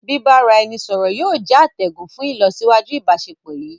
Bìbáraẹnisọọ̀rọ̀ yìí ó jẹ̀ àtẹ̀gùn fún ilosiwaju íbàsepọ̀ yí.